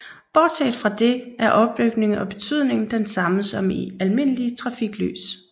Bortset fra det er opbygning og betydning den samme som i almindelige trafiklys